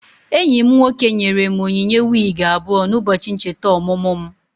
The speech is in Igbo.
Enyi m nwoke nyere m onyinye wigi abụọ na ụbọchị ncheta ọmụmụ mụ